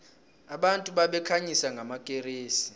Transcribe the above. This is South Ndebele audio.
abantu babekhanyisa ngamakeresi